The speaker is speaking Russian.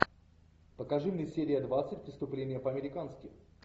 покажи мне серия двадцать преступление по американски